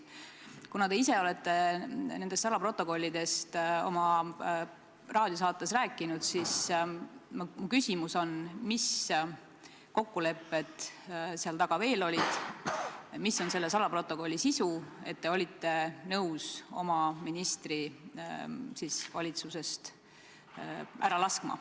Kuna te ise olete nendest salaprotokollidest oma raadiosaates rääkinud, siis mu küsimus on, mis kokkulepped seal taga veel olid, mis on nende salaprotokollide sisu, et te olite nõus oma ministri valitsusest ära laskma.